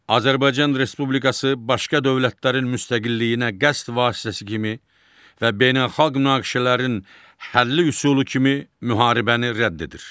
Azərbaycan Respublikası başqa dövlətlərin müstəqilliyinə qəsd vasitəsi kimi və beynəlxalq münaqişələrin həlli üsulu kimi müharibəni rədd edir.